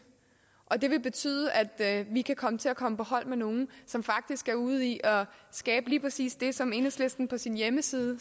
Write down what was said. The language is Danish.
og det vil betyde at vi kan komme til at komme på hold med nogle som faktisk er ude i at skabe lige præcis det som enhedslisten på sin hjemmeside